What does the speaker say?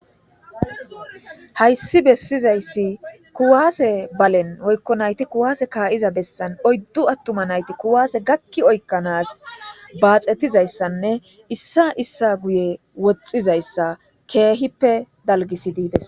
Hayssi bessizayssi kuwaase balen woykko nayti kuwaase kaa'iza bessan oyddu attuma nayti kuwaase gakki oykkanaas baaxetizayssanne issa issa guye woxxizayssa keehippe dalggisidibes.